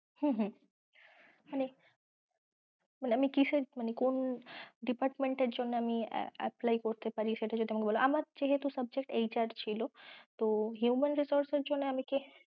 হম হম মানে আমি কিসের মানে কোন department এর জন্য apply করতে পারি সেটা যদি আমাকে একটু বল, আমার যেহেতু subjectHR ছিল তো human resource এর জন্য মানে কি